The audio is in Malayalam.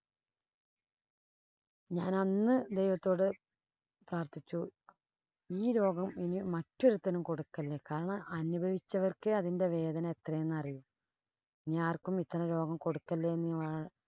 ഞാനന്ന് ദൈവത്തോട് പ്രാര്‍ത്ഥിച്ചു. ഈ രോഗം ഇനി മറ്റൊരുത്തനും കൊടുക്കല്ലേ. കാരണം, അനുഭവിച്ചവര്‍ക്കെ അതിന്‍റെ വേദന എത്രയെന്ന് അറിയൂ. ഇനി ആര്‍ക്കും ഇത്തരം രോഗം കൊടുക്കല്ലേ എന്നുള്ളതാ